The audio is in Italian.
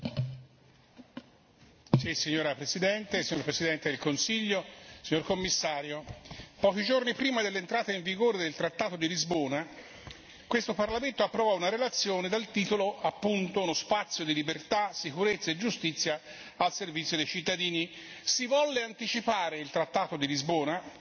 Signora Presidente, onorevoli colleghi, signor Presidente del Consiglio, signora Commissario, pochi giorni prima dell'entrata in vigore del trattato di Lisbona, questo Parlamento approvò una relazione dal titolo appunto Uno spazio di libertà, sicurezza e giustizia al servizio dei cittadini. Si volle anticipare il trattato di Lisbona,